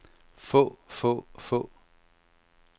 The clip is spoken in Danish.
få få få